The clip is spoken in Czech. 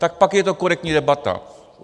Tak pak je to korektní debata.